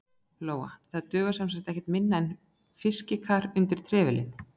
Lóa: Það dugar semsagt ekkert minna en fiskikar undir trefilinn?